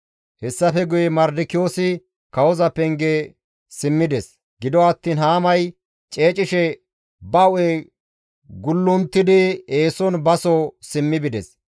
Hessafe guye Mardikiyoosi kawoza penge simmides; gido attiin Haamay ceecishe ba hu7e gullunttidi eeson baso simmi bides.